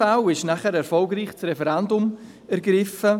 In drei Fällen wurde dann erfolgreich das Referendum ergriffen.